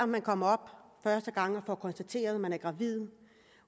man kommer op første gang og får konstateret at man er gravid